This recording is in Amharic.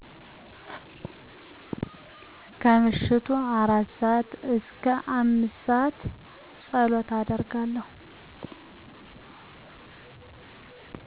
ከምሽቱ 4:00-5:00 ፀሎት አደርጋለሁ